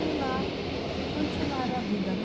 E lá continuaram a vida, né?